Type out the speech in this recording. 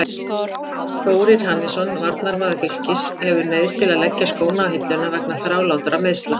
Þórir Hannesson, varnarmaður Fylkis, hefur neyðst til að leggja skóna á hilluna vegna þrálátra meiðsla.